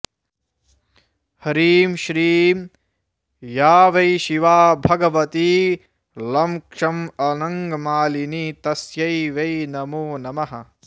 ह्रीं श्रीं या वै शिवा भगवती लं क्षं अनङ्गमालिनी तस्यै वै नमो नमः